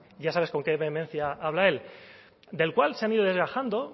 ya sabes con qué vehemencia habla él del cual se han ido desgajando